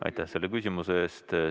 Aitäh selle küsimuse eest!